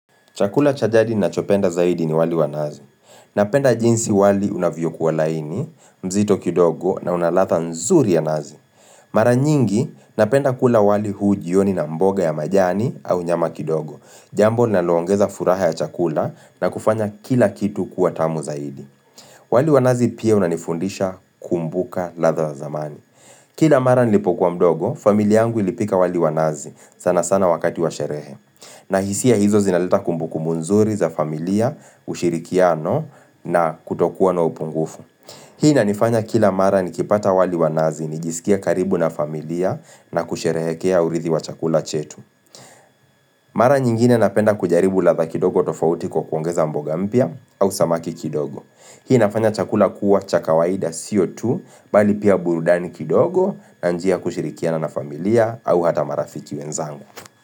Chakula cha jadi ninachopenda zaidi ni wali wa nazi. Napenda jinsi wali unavyokuwa laini, mzito kidogo na una ladha nzuri ya nazi. Mara nyingi, napenda kula wali huu jioni na mboga ya majani au nyama kidogo. Jambo linaloongeza furaha ya chakula na kufanya kila kitu kuwa tamu zaidi. Wali wa nazi pia unanifundisha kumbuka ladha za zamani. Kila mara nilipokuwa mdogo, familia yangu ilipika wali wa nazi, sana sana wakati wa sherehe. Na hisia hizo zinaleta kumbuku nzuri za familia, ushirikiano na kutokuwa na upungufu Hii inanifanya kila mara nikipata wali wa nazi, nijisikie karibu na familia na kusherehekea urithi wa chakula chetu Mara nyingine napenda kujaribu ladha kidogo tofauti kwa kuongeza mboga mpya au samaki kidogo. Hii inafanya chakula kuwa cha kawaida sio tu bali pia burudani kidogo na njia kushirikiana na familia au hata marafiki wenzangu.